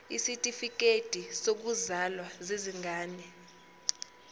izitifikedi zokuzalwa zezingane